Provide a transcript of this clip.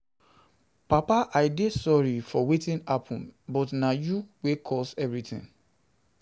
Papa I dey sorry for wetin happen but na you wey cause everything